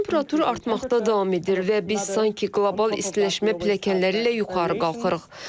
Planetdə temperatur artmaqda davam edir və biz sanki qlobal istiləşmə pilləkənləri ilə yuxarı qalxırıq.